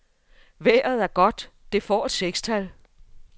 Vejret er godt, det får et sekstal.